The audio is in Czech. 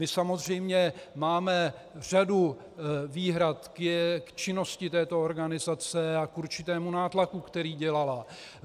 My samozřejmě máme řadu výhrad k činnosti této organizace a k určitému nátlaku, který dělala.